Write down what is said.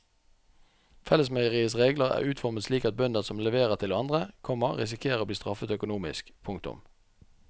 Fellesmeieriets regler er utformet slik at bønder som leverer til andre, komma risikerer å bli straffet økonomisk. punktum